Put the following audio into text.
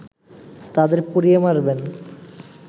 তাদের পুড়িয়ে মারবেন